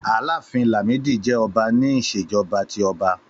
Àlàáfín Làmídì jẹ́ ọba ní Ìṣèjọ́ba tí ọba.